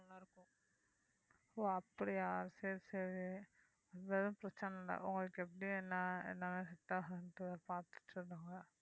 ஓ அப்படியா சரி சரி எதுவும் பிரச்சனை இல்லை உங்களுக்கு எப்படி என்ன என்ன set ஆகுன்றதை பார்த்துட்டு சொல்லுங்க